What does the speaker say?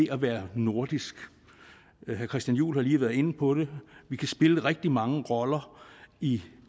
at være nordisk herre christian juhl har lige været inde på det vi kan spille rigtig mange roller i